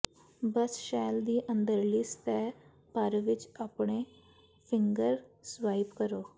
ਬਸ shell ਦੀ ਅੰਦਰਲੀ ਸਤਿਹ ਭਰ ਵਿੱਚ ਆਪਣੇ ਫਿੰਗਰ ਸਵਾਈਪ ਕਰੋ